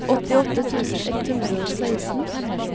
åttiåtte tusen ett hundre og seksten